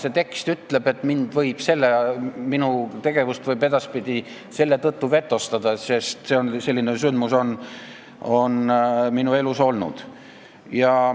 See tekst ütleb, et minu tegevust võib edaspidi selle tõttu vetostada, sest selline sündmus on minu elus olnud.